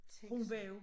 Tænk sig